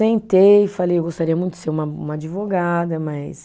Sentei, falei, eu gostaria muito de ser uma uma advogada, mas